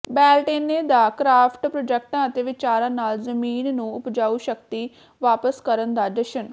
Beltane ਦੇ craft ਪ੍ਰੋਜੈਕਟਾਂ ਅਤੇ ਵਿਚਾਰਾਂ ਨਾਲ ਜ਼ਮੀਨ ਨੂੰ ਉਪਜਾਊ ਸ਼ਕਤੀ ਵਾਪਸ ਕਰਨ ਦਾ ਜਸ਼ਨ